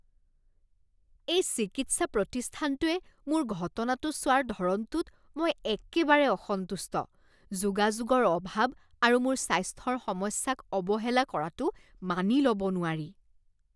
এই চিকিৎসা প্ৰতিষ্ঠানটোৱে মোৰ ঘটনাটো চোৱাৰ ধৰণটোত মই একেবাৰে অসন্তুষ্ট। যোগাযোগৰ অভাৱ আৰু মোৰ স্বাস্থ্যৰ সমস্যাক অৱহেলা কৰাটো মানি ল'ব নোৱাৰি।